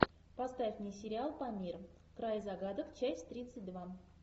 поставь мне сериал памир край загадок часть тридцать два